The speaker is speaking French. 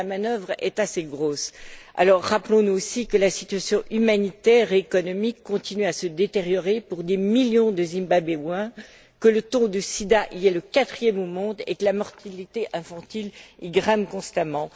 la manœuvre est assez grosse. Rappelons nous aussi que la situation humanitaire et économique continue à se détériorer pour des millions de Zimbabwéens, que le taux de sida y est le quatrième au monde et que la mortalité infantile y grimpe constamment.